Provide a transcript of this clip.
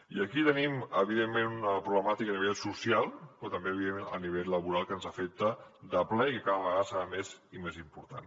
i aquí tenim una problemàtica a nivell social però també a nivell laboral que ens afecta de ple i que cada vegada serà més i més important